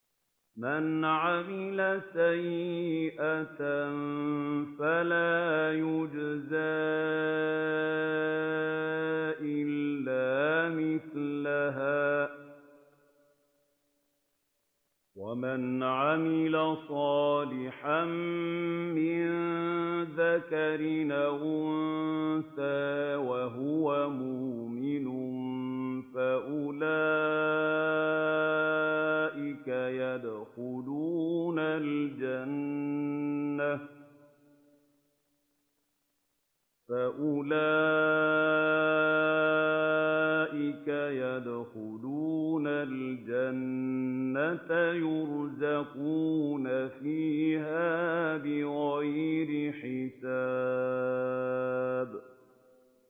مَنْ عَمِلَ سَيِّئَةً فَلَا يُجْزَىٰ إِلَّا مِثْلَهَا ۖ وَمَنْ عَمِلَ صَالِحًا مِّن ذَكَرٍ أَوْ أُنثَىٰ وَهُوَ مُؤْمِنٌ فَأُولَٰئِكَ يَدْخُلُونَ الْجَنَّةَ يُرْزَقُونَ فِيهَا بِغَيْرِ حِسَابٍ